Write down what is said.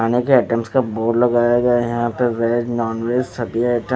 अनेकों आइटम्स का बोर्ड लगाया गया है यहां पर वेज नॉन सभी आइटम् --